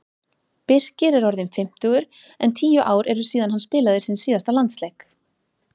Birkir er orðinn fimmtugur en tíu ár eru síðan hann spilaði sinn síðasta landsleik.